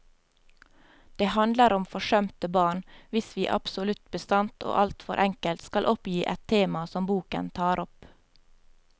Det handler om forsømte barn, hvis vi absolutt bastant og alt for enkelt skal oppgi et tema som boken tar opp.